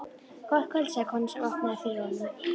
Gott kvöld sagði konan sem opnaði fyrir honum.